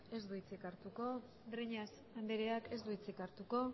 ez du hitzik hartuko breñas andreak ez du hitzik hartuko